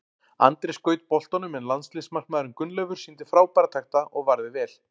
Andri skaut boltanum en landsliðsmarkmaðurinn Gunnleifur sýndi frábæra takta og varði vel.